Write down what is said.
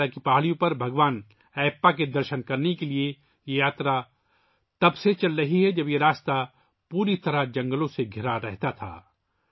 سبریمالا پہاڑیوں پر بھگوان ایپّا کے درشن کرنے کے لئے یہ یاترا تب سے چل رہی ہے جب یہ راستہ پوری طرح جنگلات سے گھرا ہوا تھا